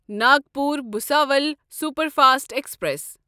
Nagpur Bhusawal superfast express